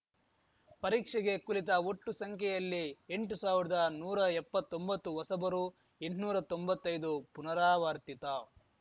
ಪರೀಕ್ಷೆಗೆ ಕುಳಿತ ಒಟ್ಟು ಸಂಖ್ಯೆಯಲ್ಲಿ ಎಂಟು ಸಾವಿರ್ದಾ ನೂರಾ ಎಪ್ಪತ್ತೊಂಬತ್ತು ಹೊಸಬರು ಎಂಟ್ನೂರಾ ತೊಂಬತ್ತೈದು ಪುನರಾವರ್ತಿತ